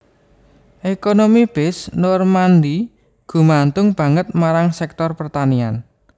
Ekonomi Basse Normandie gumantung banget marang sektor pertanian